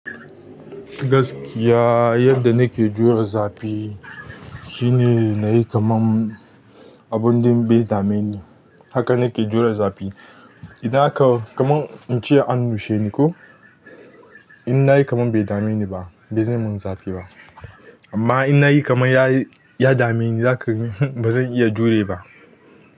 Gaskiya yadda na ke jure zafi shine na yi kamar abun ɗin bai dame ni. Haka na ke jure zafi. Idan aka, kamar in ce an nushe ni ko, in na yi kamar bai dame ni ba, zai min zafi ba. Amma in na yi kamar ya dame ni, zaka ga ba zan iya jure ba.